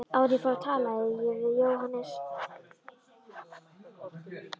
Áður en ég fór talaði ég við Jóhannes